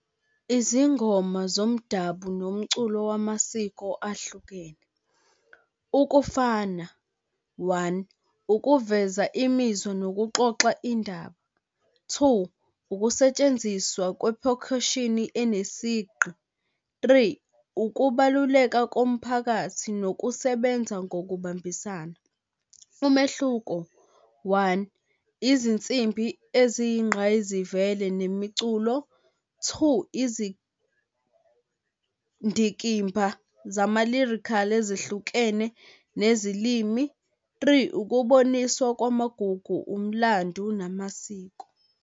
Izingoma zomdabu nomculo wamasiko ahlukene. Ukufana, one ukuveza imizwa nokuxoxa indaba. Two, ukusetshenziswa enesigqi. Three, ukubaluleka komphakathi nokusebenza ngokubambisana. Umehluko, one, izinsimbi eziyingqayizivele nemiculo. Two, izindikimba zamalirikhali ezihlukene nezilimi. Three, ukuboniswa kwamagugu, umlando namasiko.